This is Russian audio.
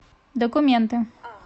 документы